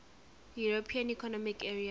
european economic area